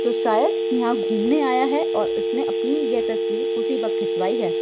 जो शायद यहां घूमने आया है और उसने अपनी यह तस्वीर उसी वक्त खिंचवाई है।